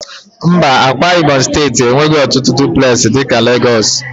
Mba, Ákwá ibom steeti enweghị ọtụtụ dụplesi dị ka Lagos